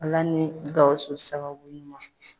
Ala ni GAWUSU sababuɲuman.